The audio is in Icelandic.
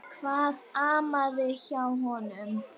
Hvað amaði að honum?